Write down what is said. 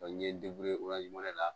n ye o waati de la